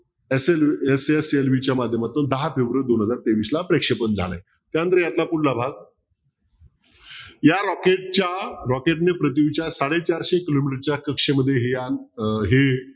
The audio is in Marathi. SSLV च्या माध्यमातून दहा फेब्रुवारी दोन हजार तेवीस ला प्रेक्षपण झालंय त्यानंतर यातला पुढला भाग या rocket च्या rocket ने पृथ्वीच्या सडे चारशे किलोमीटरच्या कक्षेमध्ये हे यान अं हे